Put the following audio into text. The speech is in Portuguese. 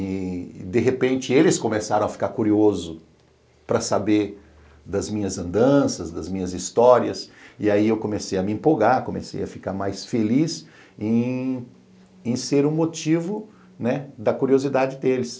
E, de repente, eles começaram a ficar curiosos para saber das minhas andanças, das minhas histórias, e aí eu comecei a me empolgar, comecei a ficar mais feliz em ser o motivo, né, da curiosidade deles.